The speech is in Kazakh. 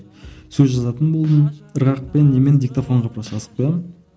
сөз жазатын болдым ырғақпен немен диктофонға просто жазып қоямын